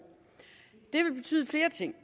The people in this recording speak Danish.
det vil betyde flere ting